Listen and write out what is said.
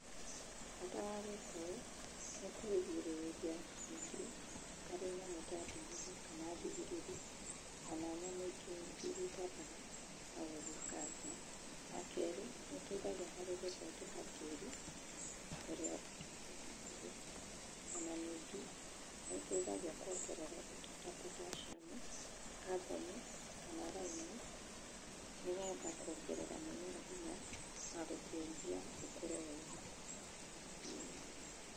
Bata wa gwĩka ũũ nĩ kũgirĩrĩria mũtĩ harĩ nyamũ ta ndinoho, kana thigiriri kana nyamũ ingĩ nyingĩ iria itambaga na gũthũkangia. Wakerĩ, nĩũteithagia harĩ gũthondeka tĩri ũrĩa wĩ hakuhĩ. Ona ningĩ nĩĩteithagia kuongerera indo ta potassium, carbon kana lime nĩgetha kuongerera mũmera hinya na gũteithia ũkũre wega.